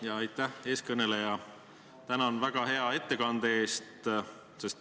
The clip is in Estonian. Ja aitäh, eeskõneleja – tänan väga hea ettekande eest!